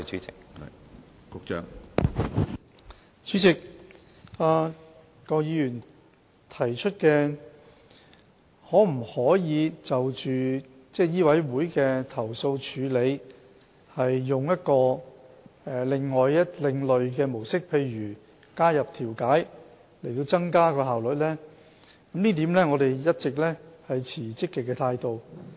主席，郭議員提出可否就醫委會的投訴處理採用另一種模式，例如加入調解方式以提高效率，對於這一點，我們一直持積極的態度。